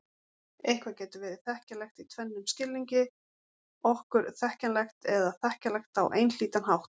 Eitthvað getur verið þekkjanlegt í tvennum skilningi: okkur þekkjanlegt eða þekkjanlegt á einhlítan hátt.